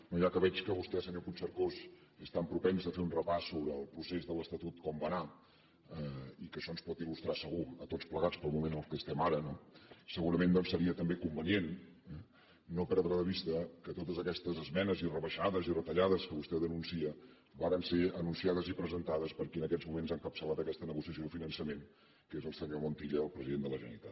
no ja que veig que vostè senyor puigcercós és tan propens a fer un repàs sobre el procés de l’estatut com va anar i que això ens pot il·lustrar segur a tots plegats pel moment en què estem ara no segurament doncs seria també convenient no perdre de vista que totes aquestes esmenes i rebaixades i retallades que vostè denuncia varen ser anunciades i presentades per qui en aquests moments ha encapçalat aquesta negociació de finançament que és el senyor montilla el president de la generalitat